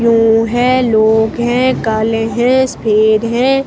है लोग है काले है सफेद है।